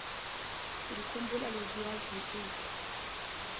ngikhumbula leziya zinsuku